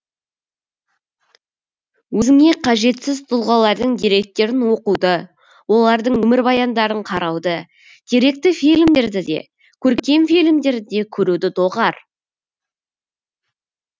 өзіңе қажетсіз тұлғалардың деректерін оқуды олардың өмірбаяндарын қарауды деректі фильмдерді де көркем фильмдерді де көруді доғар